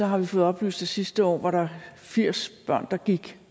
har vi fået oplyst at sidste år var der firs børn der